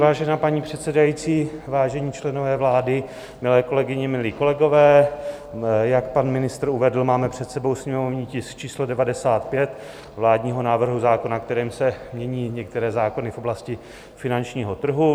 Vážená paní předsedající, vážení členové vlády, milé kolegyně, milí kolegové, jak pan ministr uvedl, máme před sebou sněmovní tisk číslo 95 vládního návrhu zákona, kterým se mění některé zákony v oblasti finančního trhu.